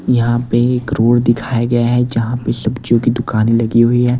यहां पे एक रोड दिखाया गया है जहां पे सब्जियों की दुकान लगी हुई है।